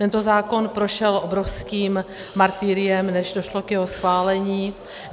Tento zákon prošel obrovským martyriem, než došlo k jeho schválení.